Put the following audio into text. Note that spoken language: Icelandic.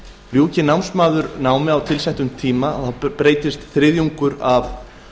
ljúki námsmaður námi á tilsettum tíma breytist þriðjungur af